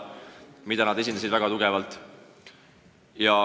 Seda seisukohta esindasid nad väga tugevalt.